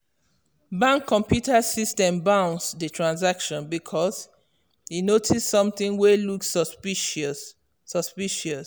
bank computer system bounce the transaction because e notice something wey look suspicious. suspicious.